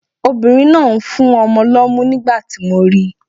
Obìnrin náà ń fún ọmọ lọ́mú nígbà tí mo ri.